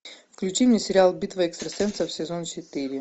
включи мне сериал битва экстрасенсов сезон четыре